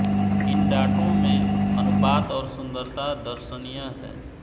इन डाटों में अनुपात और सुंदरता दर्शनीय है